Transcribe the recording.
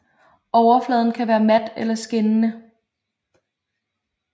Overfladen kan være mat eller skinnende